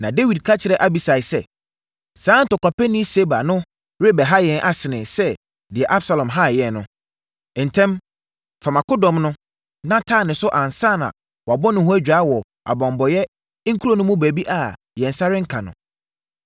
Na Dawid ka kyerɛɛ Abisai sɛ, “Saa ntɔkwapɛni Seba no rebɛha yɛn asene sɛ deɛ Absalom haa yɛn no. Ntɛm, fa mʼakodɔm no, na taa ne so ansa na wabɔ ne ho adwaa wɔ abanbɔeɛ nkuro no mu baabi a yɛn nsa renka no.”